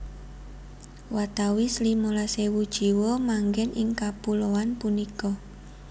Watawis limolas ewu jiwa manggen ing kapuloan punika